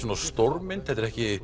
stórmynd þetta er ekki